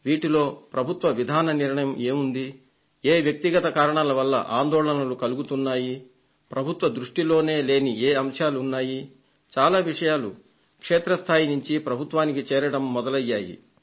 వీటిలో ప్రభుత్వ విధాన నిర్ణయం ఏం ఉంది ఏ వ్యక్తిగత కారణాల వల్ల ఆందోళనలు కలుగుతున్నాయి పరద భుత్వ దృష్టిలోనే లేని ఏ అంశాలున్నాయి చాలా విషయాలు క్షేత్ర స్థాయి నుండి ప్రభుత్వానికి చేరడం మొదలయింది